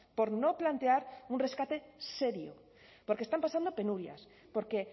por no plantear un rescate serio porque están pasando penurias porque